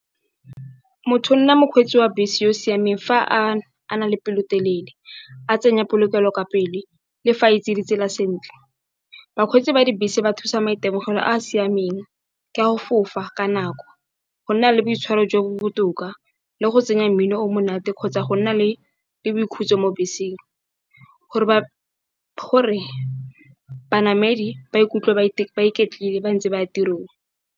Motho o nna mokgweetsi wa bese yo o siameng fa a na le pelotelele, a tsenya polokelo ka pele le fa itse ditsela sentle. Bakgweetsi ba dibese ba thusa maitemogelo a a siameng ka go fofa ka nako, go nna le boitshwaro jo bo botoka le go tsenya mmino o monate kgotsa go nna le boikhutso mo beseng, gore banamedi ba ikutlwe ba iketlile ba ntse ba ya tirong.